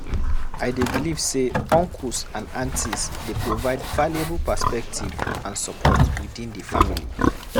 I dey believe say uncles and aunties dey provide valuable perspective and support within the family.